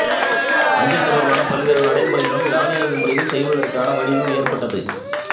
அஞ்சல் தொடர்பான பல்வேறு நடைமுறைகளும் தானியங்கி முறையில் செய்வதற்கான வழியும் ஏற்பட்டது